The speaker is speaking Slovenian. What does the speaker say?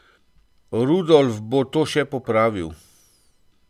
Rudolf bo to še popravil.